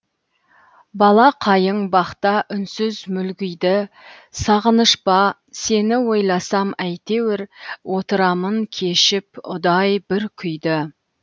бала қайың бақта үнсіз мүлгиді сағыныш па сені ойласам әйтеуір отырамын кешіп ұдай бір күйді